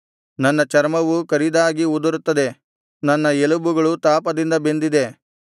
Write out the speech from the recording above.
ನನ್ನ ಚರ್ಮವು ಕರಿದಾಗಿ ಉದುರುತ್ತದೆ ನನ್ನ ಎಲುಬುಗಳು ತಾಪದಿಂದ ಬೆಂದಿದೆ